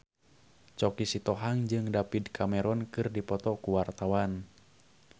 Choky Sitohang jeung David Cameron keur dipoto ku wartawan